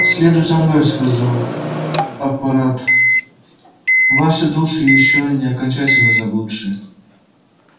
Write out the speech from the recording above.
следуйте за мной сказал аппарат ваши души ещё не окончательно заблудшие